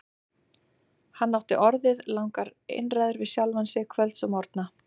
Hann átti orðið langar einræður við sjálfan sig kvölds og morgna.